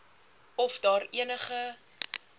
of daar enige